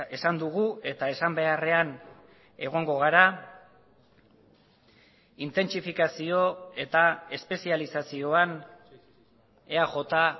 esan dugu eta esan beharrean egongo gara intentsifikazio eta espezializazioan eaj